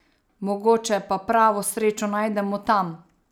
Mogoče pa pravo srečo najdemo tam.